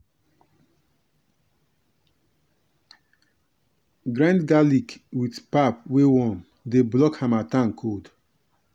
grind garlic with pap wey warm dey block harmattan cold.